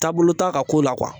Taabolo t'a ka ko la